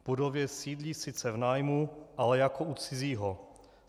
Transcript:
V budově sídlí sice v nájmu, ale jako u cizího.